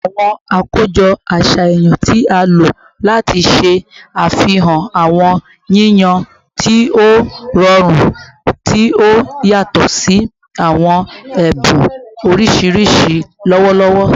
Awọn akojọ aṣayan ti a lo lati ṣe afihan awọn yiyan ti o rọrun, ti o yatọ si awọn ẹbun oriṣiriṣi lọwọlọwọ